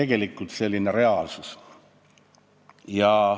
Nii et selline on reaalsus.